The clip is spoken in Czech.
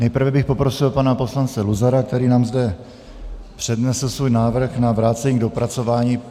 Nejprve bych poprosil pana poslance Luzara, který nám zde přednesl svůj návrh na vrácení k dopracování.